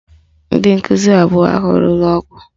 Ndị nkụzi abụọ ahụ lụrụ ọgụ